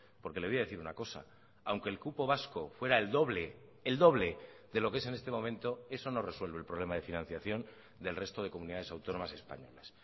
porque le voy a decir una cosa aunque el cupo vasco fuera el doble el doble de lo que es en este momento eso no resuelve el problema de financiación del resto de comunidades autónomas españolas